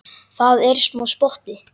Það er smá spotti.